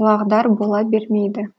құлағдар бола бермейді